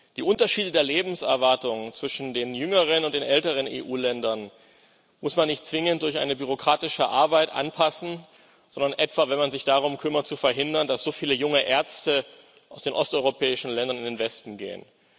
Die Unterschiede der Lebenserwartung zwischen den jüngeren und den älteren EU Ländern muss man nicht zwingend durch eine bürokratische Arbeit anpassen, sondern etwa, wenn man sich darum kümmert zu verhindern, dass so viele junge Ärzte aus den osteuropäischen Ländern in den Westen gehen.